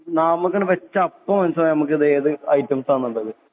നാവുമ്മക്കണ് വെച്ച അപ്പൊ മനസ്സിലാവും ഞമ്മക്കിത് ഏത് ഐറ്റംസാന്ന്ള്ളത്